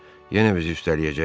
Yenə bizi üstələyəcəklər.